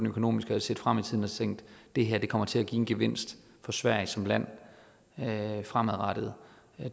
økonomiske og set frem i tiden og tænkt det her kommer til at give en gevinst for sverige som land fremadrettet